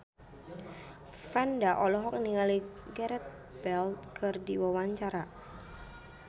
Franda olohok ningali Gareth Bale keur diwawancara